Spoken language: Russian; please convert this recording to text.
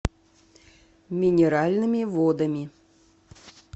минеральными водами